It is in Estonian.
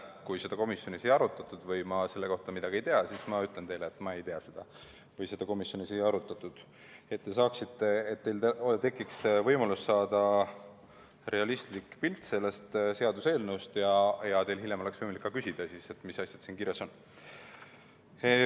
Kui seda komisjonis ei arutatud või ma selle kohta midagi ei tea, siis ma ütlen teile, et ma ei tea või seda komisjonis ei arutatud, et teil tekiks võimalus saada realistlik pilt sellest seaduseelnõust ja hiljem oleks võimalik ka küsida, mis asjad siin kirjas on.